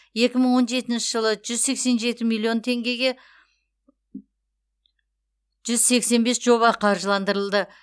екі мың он жетінші жылы жүз сексен жеті миллион теңгеге жүз сексен бес жоба қаржыландырылды